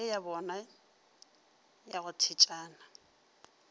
ye yabona ya go thetšana